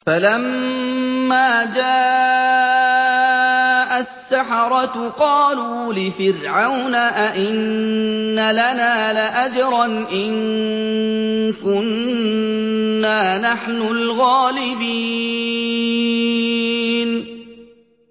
فَلَمَّا جَاءَ السَّحَرَةُ قَالُوا لِفِرْعَوْنَ أَئِنَّ لَنَا لَأَجْرًا إِن كُنَّا نَحْنُ الْغَالِبِينَ